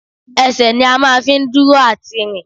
Ẹsẹ̀ ni a máa fi ń dúró àti rìn